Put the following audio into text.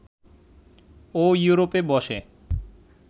ও ইউরোপে বসে